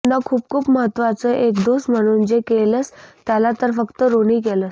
न खूप खूप महत्वाच एक दोस्त म्हणून जे केलस त्याला तर फ़क़्त ऋणी केलस